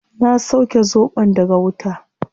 Na sauke zobon daga wuta